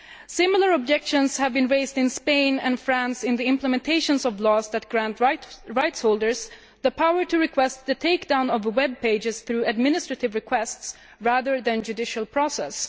Similar objections have been raised in Spain and France in the implementation of laws that grant rightholders the power to request the take down of a web page through administrative requests rather than judicial process.